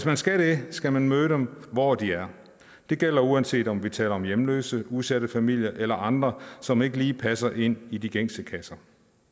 man skal det skal man møde dem hvor de er det gælder uanset om vi taler om hjemløse udsatte familier eller andre som ikke lige passer ind i de gængse kasser